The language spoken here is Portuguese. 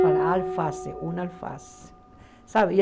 Falaram alface, um alface, sabe?